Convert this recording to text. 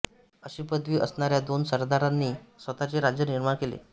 अशी पदवी असणाऱ्या दोन सरदारांनी स्वतःचे राज्य निर्माण केले